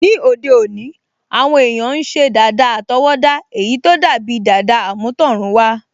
Ní òde òní, àwọn èèyàn n ṣe dàda àtọwọ́dá èyí tó dàbi dàda àmútọ̀runwá